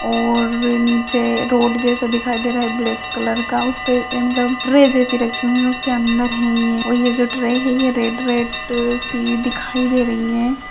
और नीचे रोड जैसा दिखाई दे रहा है ब्लैक कलर का उसपे मतलब ट्रे जैसी रखी हुई है उसके अंदर हे ये और ये जो ट्रे है ये रेड रेड सी दिखाई दे रही है।